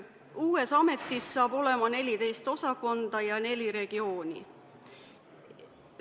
Uues ametis saab olema 14 osakonda ja neli regiooni.